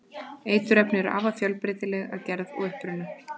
eiturefni eru afar fjölbreytileg að gerð og uppruna